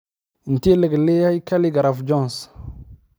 intee le'eg yahay khaligraph Jones